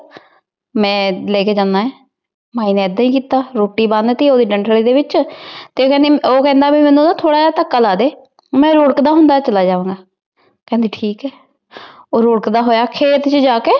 ਮੈ ਲੈਕੇ ਜਾਂਦਾ। ਮਾਈ ਨੇ ਏਦਾਂ ਹੀ ਕੀਤਾ। ਰੋਟੀ ਬੰਨ ਦਿੱਤੀ ਉਹਦੀ ਡੰਠਲੀ ਦੇ ਵਿੱਚ। ਤੇ ਕਹਿੰਦੀ ਉਹ ਕਹਿੰਦਾ ਵੀ ਮੈਨੂੰ ਨਾ ਥੋੜਾ ਜਾ ਧੱਕਾ ਲਾ ਦੇ। ਮੈਂ ਰੁੜਕਦਾ ਹੁੰਦਾ ਚਲਾ ਜਾਵਾਂਗਾ। ਕਹਿੰਦੀ ਠੀਕ ਹੈ। ਉਹ ਰੁੜਕਦਾ ਹੋਇਆ ਖੇਤ ਚ ਜਾਕੇ